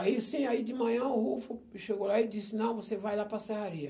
Aí sim, aí de manhã o Rufo chegou lá e disse, não, você vai lá para a serraria.